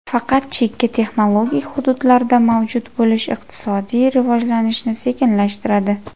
Faqat chekka texnologik hududlarda mavjud bo‘lish iqtisodiy rivojlanishni sekinlashtiradi.